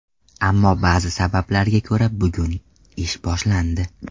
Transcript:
Ammo ba’zi sabablarga ko‘ra bugun ish boshlandi.